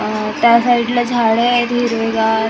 आह त्या साईडला झाडे आहेत हिरवेगार .